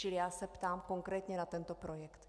Čili já se ptám konkrétně na tento projekt.